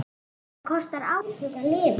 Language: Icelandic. Það kostar átök að lifa.